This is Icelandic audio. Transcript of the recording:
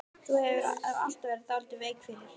Þú hefur nú alltaf verið dálítið veik fyrir